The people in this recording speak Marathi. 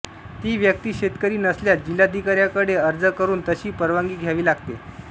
ती व्यक्ती शेतकरी नसल्यास जिल्हाधिकाऱ्यांकडे अर्ज करून तशी परवानगी घ्यावी लागते